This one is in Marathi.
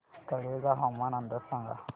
तळेगाव हवामान अंदाज सांगा